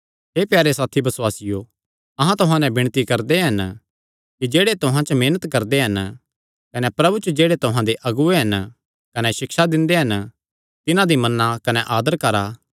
हे प्यारे साथी बसुआसियो अहां तुहां नैं विणती करदे हन कि जेह्ड़े तुहां च मेहनत करदे हन कने प्रभु च जेह्ड़े तुहां दे अगुऐ हन कने सिक्षा दिंदे हन तिन्हां दी मन्ना कने आदर करा